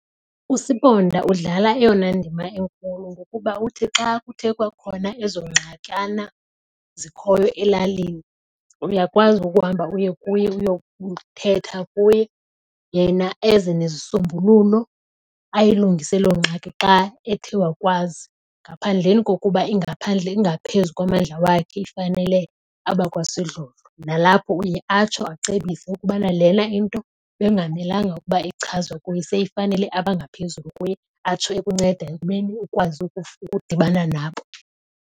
Usibonda udlala eyona ndima enkulu ngokuba uthi xa kuthe kwakhona ezo ngxakana zikhoyo elalini uyakwazi ukuhamba uye kuye uyokuthetha kuye. Yena eze nezisombululo ayilungise loo ngxaki xa ethe wakwazi. Ngaphandleni kokuba ingaphandle ingaphezu kwamandla wakhe ifanele abakwasidlodlo. Nalapho uye atsho acebise ukubana lena into bekungamelanga ukuba ichazwa kuye, seyifanele abangaphezulu kuye atsho ekunceda ekubeni ukwazi ukudibana nabo.